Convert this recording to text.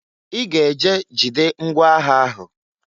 I ga-eje jide ngwa agha ahụ!